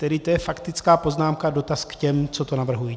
Tedy to je faktická poznámka, dotaz k těm, co to navrhují.